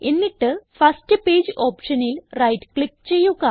എന്നിട്ട് first page ഓപ്ഷനിൽ right click ചെയ്യുക